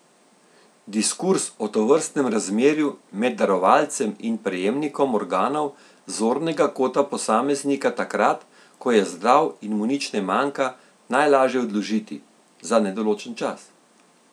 Diskurz o tovrstnem razmerju med darovalcem in prejemnikom organov z zornega kota posameznika takrat, ko je zdrav in mu nič ne manjka, najlaže odložiti, za nedoločen čas.